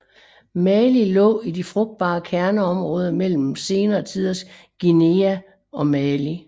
Mali lå i de frugtbare kerneområder mellem senere tiders Guinea og Mali